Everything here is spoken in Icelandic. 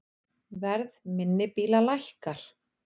Verð minni bíla lækkar